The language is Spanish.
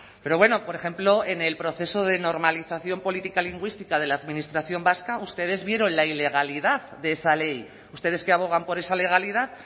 pero bueno por ejemplo en el proceso de normalización política lingüística de la administración vasca ustedes vieron la ilegalidad de esa ley ustedes que abogan por esa legalidad